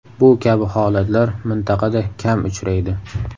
Bu kabi holatlar mintaqada kam uchraydi.